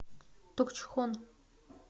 токчхон